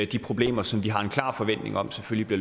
de problemer som vi har en klar forventning om selvfølgelig